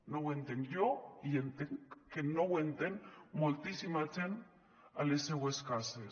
no ho entenc jo i entenc que no ho entén moltíssima gent a les seues cases